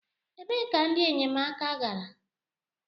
Ebee ka ndị enyemaka gara?